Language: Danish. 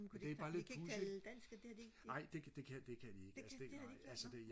det er bare lidt pudsigt nej det kan kan det kan de ikke altså det nej altså det